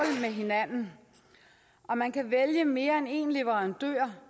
med hinanden og man kan vælge mere end én leverandør